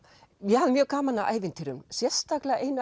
ég hafði mjög gaman af ævintýrunum sérstaklega af